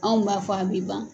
Anw m'a fɔ a bɛ ban.